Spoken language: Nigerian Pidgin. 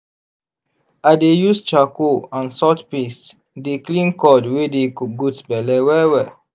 i dey use charcoal and salt paste dey clean cord wey dey goat belle well-well.